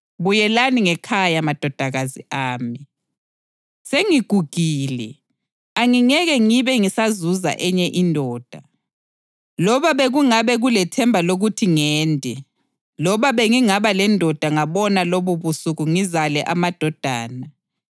Buyelani ngekhaya madodakazi ami. Sengigugile, angingeke ngibe ngisazuza enye indoda. Loba bekungabe kulethemba lokuthi ngende loba bengingaba lendoda ngabona lobubusuku ngizale amadodana,